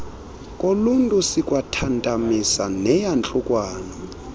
koluntu sikwathantamisa neyantluko